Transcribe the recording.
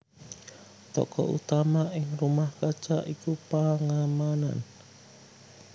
Tokoh utama ing Rumah Kaca iku Pangemanann